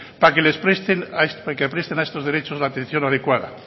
para que les presten a estos derechos la atención adecuada